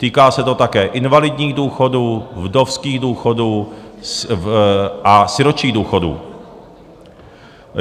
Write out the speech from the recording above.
Týká se to také invalidních důchodů, vdovských důchodů a sirotčích důchodů.